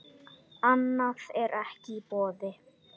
Annað er ekki í boði.